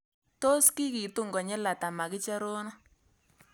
Tos' kikitun konyil ata makiche rono